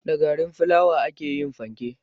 Da garin filawa ake yin fanke